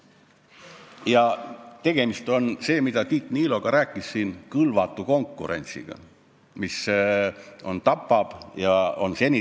Ja tegemist on, nagu ka Tiit Niilo siin rääkis, kõlvatu konkurentsiga, mis on seni tapnud ja tapab edasi.